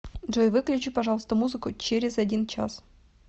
джой выключи пожалуйста музыку через один час